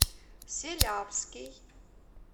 селявский